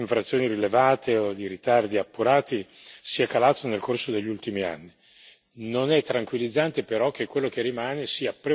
È indubbiamente positivo che il numero di infrazioni rilevate o di ritardi appurati sia calato nel corso degli ultimi anni.